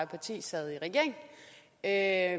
parti sad i regering er